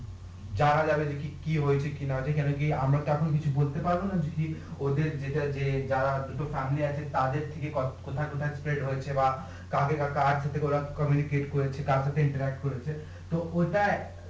যানা যাবে যে কি হয়েছে কি না হয়েছে আমরা কি এখনো বলতে পারবো না যে কি ওদের যেটা যে যা দুটো তাদের থেকে কতোটুকু হয়েছে বা কাকে বা কার সাথে করেছে কার সাথে করেছে তো ওটার